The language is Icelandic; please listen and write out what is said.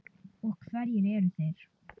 Og hverjir eru þeir?